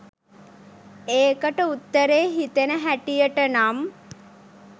ඒකට උත්තරේ හිතෙන හැටියට නම්